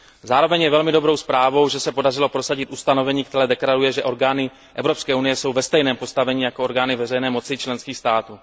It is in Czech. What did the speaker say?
Zároveň je velmi dobrou zprávou, že se podařilo prosadit ustanovení, které stanoví, že orgány Evropské unie jsou ve stejném postavení jako orgány veřejné moci členských států.